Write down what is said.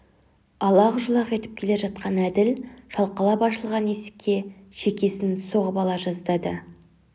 алақ-жұлақ етіп келе жатқан әділ шалқалап ашылған есікке шекесін соғып ала жаздады